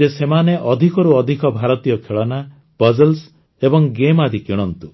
ଯେ ସେମାନେ ଅଧିକରୁ ଅଧିକ ଭାରତୀୟ ଖେଳନା ପଜଲ୍ସ ଏବଂ ଗେମ ଆଦି କିଣନ୍ତୁ